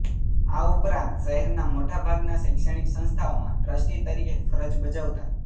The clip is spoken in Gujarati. આ ઉપરાંત શહેરના મોટાભાગના શૈક્ષણિક સંસ્થાઓમાં ટ્રસ્ટી તરીકે ફરજ બજાવતાં